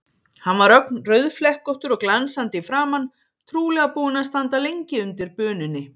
Hann var ögn rauðflekkóttur og glansandi í framan, trúlega búinn að standa lengi undir bununni.